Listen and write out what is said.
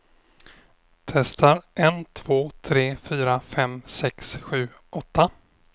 Testar en två tre fyra fem sex sju åtta.